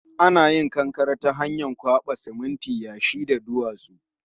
Ana hada kankare ta hanyar kwaba siminti, yashi da duwatsu